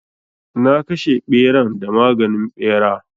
Na kashe ɓeran da maganin ɓera.